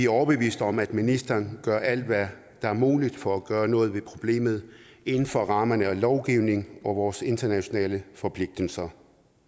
overbeviste om at ministeren gør alt hvad der er muligt for at gøre noget ved problemet inden for rammerne af lovgivningen og vores internationale forpligtelser